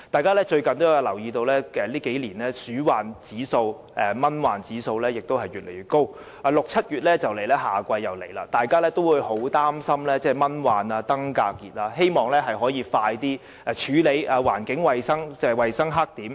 可能大家也留意到，近年的鼠患指數和蚊患指數越來越高，而6月、7月夏季將至，市民很擔心蚊患和登革熱，希望可以盡快處理衞生黑點。